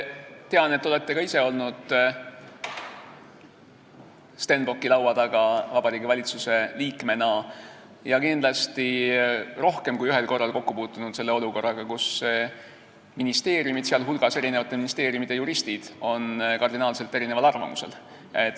Tean, et te olete ka ise olnud Stenbocki laua taga Vabariigi Valitsuse liikmena ja kindlasti rohkem kui ühel korral puutunud kokku olukorraga, kus ministeeriumid, sh eri ministeeriumide juristid on kardinaalselt erineval arvamusel.